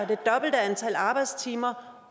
det dobbelte antal arbejdstimer